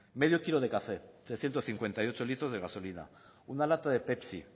medio kilo de café trescientos cincuenta y ocho litros de gasolina una lata de pepsi